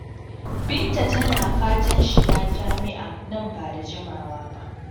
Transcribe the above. Binta tana fatan shiga jami'a nan ba da jimawa ba.